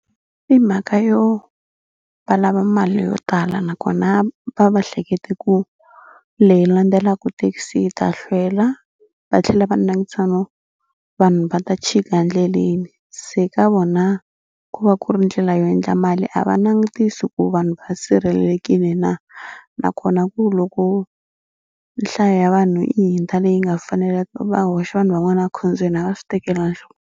I mhaka yo va lava mali yo tala nakona va va hlekete ku leyi landzelaka thekisi yi ta hlwela va tlhela va langutisa no vanhu va ta chika endleleni. Se ka vona ku va ku ri ndlela yo endla mali a va langutisi ku vanhu va sirhelelekile na nakona ku loko nhlayo ya vanhu yi hundza leyi nga faneleka va hoxa vanhu van'wana va ekhombyeni a va swi tekela .